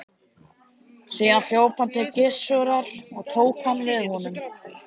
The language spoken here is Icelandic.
Síðan hljóp hann til Gissurar og tók hann við honum.